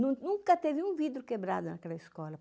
Nun nunca teve um vidro quebrado naquela escola.